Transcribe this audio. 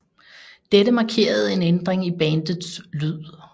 Dette markerede en ændring i bandets lyd